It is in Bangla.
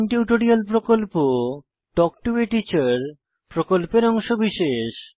স্পোকেন টিউটোরিয়াল প্রকল্প তাল্ক টো a টিচার প্রকল্পের অংশবিশেষ